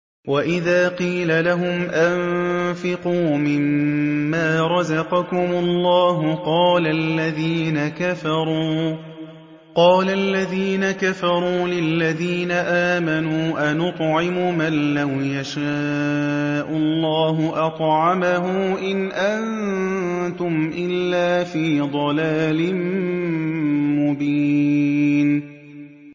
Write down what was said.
وَإِذَا قِيلَ لَهُمْ أَنفِقُوا مِمَّا رَزَقَكُمُ اللَّهُ قَالَ الَّذِينَ كَفَرُوا لِلَّذِينَ آمَنُوا أَنُطْعِمُ مَن لَّوْ يَشَاءُ اللَّهُ أَطْعَمَهُ إِنْ أَنتُمْ إِلَّا فِي ضَلَالٍ مُّبِينٍ